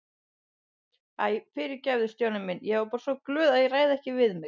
Æ, fyrirgefðu Stjáni minn, ég er bara svo glöð að ég ræð ekki við mig